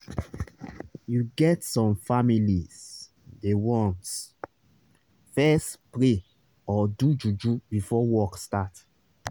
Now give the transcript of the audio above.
you get some families dey want fess pray or do juju before work start